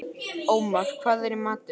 Ómar, hvað er í matinn?